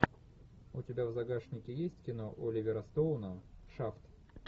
у тебя в загашнике есть кино оливера стоуна шафт